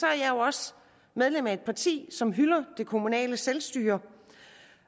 er jeg også medlem af et parti som hylder det kommunale selvstyre